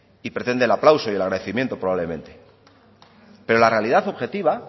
y pretende el aplauso y el agradecimiento probablemente pero la realidad objetiva